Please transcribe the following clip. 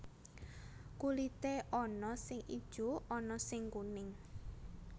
Kulité ana sing ijo ana sing kuning